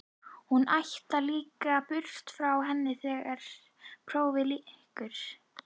Hún ætlar líka burt frá henni þegar prófunum lýkur.